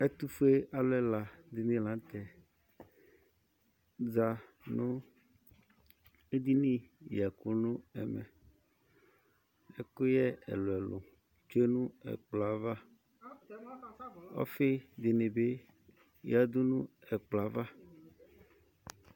Ɛtufule alu ɛla di la n'tɛ za nù edinì yɛku nu ɛmɛ, ɛkuyɛ ɛluɛlu tsue nu ɛkplɔɛ ava, ɔfi dini bi yiadú n' ɛkplɔɛ ava